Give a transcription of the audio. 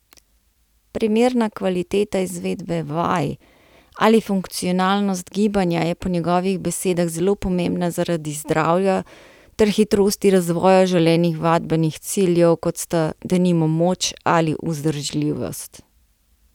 Primerna kvaliteta izvedbe vaj ali funkcionalnost gibanja je po njegovih besedah zelo pomembna zaradi zdravja ter hitrosti razvoja želenih vadbenih ciljev kot sta denimo moč ali vzdržljivost.